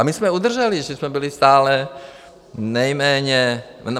A my jsme udrželi, že jsme byli stále nejméně...